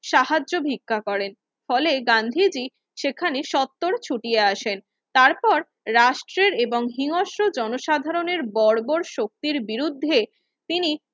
সাহায্য ভিক্ষা করেন ফলে গান্ধীজি সেখানে সত্তর ছুটিয়া আসেন তারপর রাষ্টের এবং হিমস্রো জনসাধারণের বর বর শক্তির বিরুদ্ধে তিনি